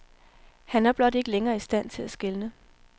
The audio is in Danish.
Han er blot ikke længere i stand til at skelne.